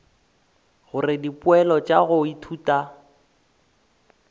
gore dipoelo tša go ithuta